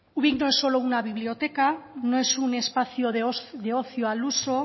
ubik no es solo una biblioteca no es un espacio de ocio al uso